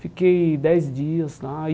Fiquei dez dias lá.